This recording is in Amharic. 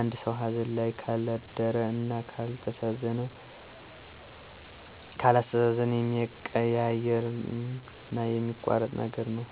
አንድ ሰው ሀዘን ላይ ካልደረ እና ካላስተዛዘነ የሚያቀያይምና የሚያቆራርጥ ነገር ነው።